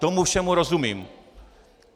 Tomu všemu rozumím.